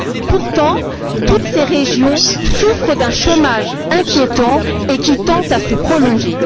Pourtant, toutes ces régions souffrent d'un chômage inquiétant et qui tend à se prolonger.